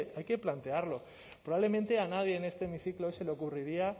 hay que plantearlo probablemente a nadie en este hemiciclo se le ocurriría